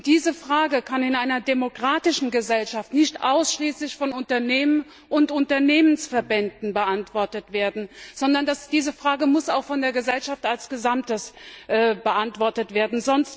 Diese Frage kann in einer demokratischen Gesellschaft nicht ausschließlich von Unternehmen und Unternehmensverbänden beantwortet werden, sondern diese Frage muss auch von der Gesellschaft als Gesamtes beantwortet werden.